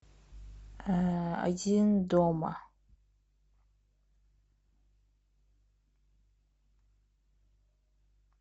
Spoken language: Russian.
один дома